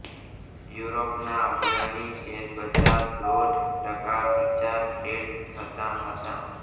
યુરોપના અગ્રણી શેરબજાર દોઢ ટકા નીચા ટ્રેડ થતાં હતા